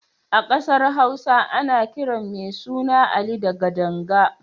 A ƙasar Hausa ana kiran mai suna Ali da Gadanga.